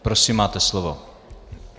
Prosím, máte slovo.